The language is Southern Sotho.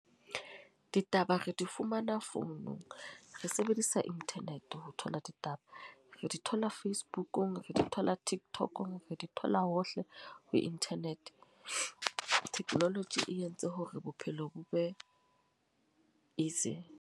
Ditaba re di fumana founung. Re sebedisa internet ho thola ditaba. Re di thola Facebook-ung, re di thola Tiktok-ong. Re di thola hohle ho internet. Technology e entse hore bophelo bo be easy.